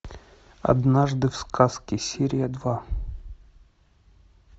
однажды в сказке серия два